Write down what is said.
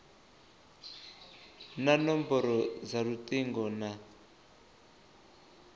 na nomboro dza lutingo na